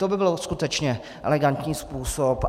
To by byl skutečně elegantní způsob.